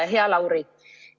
Hea Lauri!